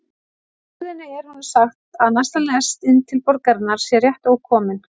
Á stöðinni er honum sagt að næsta lest inn til borgarinnar sé rétt ókomin.